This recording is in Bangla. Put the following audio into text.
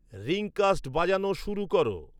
রিংকাস্ট বাজানো শুরু কর